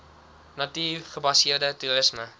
natuur gebaseerde toerisme